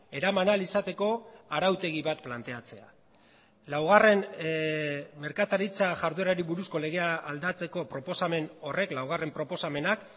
eraman ahal izateko arautegi bat planteatzea laugarren merkataritza jarduerari buruzko legea aldatzeko proposamen horrek laugarren proposamenak